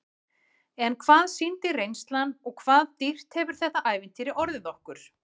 En hvað sýndi reynslan og hvað dýrt hefur þetta ævintýri orðið okkur?